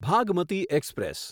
Bhagmati express